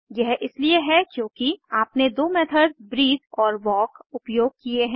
यह इसलिए है क्योंकि आपने दो मेथड्स ब्रीथ और वाल्क उपयोग किये हैं